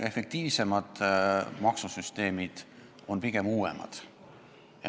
Efektiivsemad maksusüsteemid on pigem uuemad.